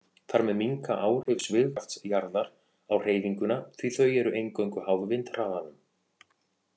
Þar með minnka áhrif svigkrafts jarðar á hreyfinguna því þau eru eingöngu háð vindhraðanum.